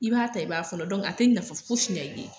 I b'a ta, i b'a fɔɔnɔ. a te nafa fosi ɲɛ i ye.